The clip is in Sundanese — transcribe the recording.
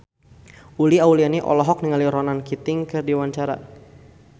Uli Auliani olohok ningali Ronan Keating keur diwawancara